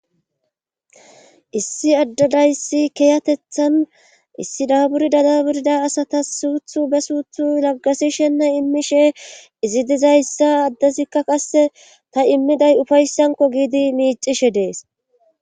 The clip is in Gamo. Issi addadayssi kiyatethan issi daaburida daburida asata suuthu be suuthu laggasishenna immishe izi dizayssa addezikka qasse ta immiday ufayssanko giidi miicishe dees